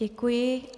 Děkuji.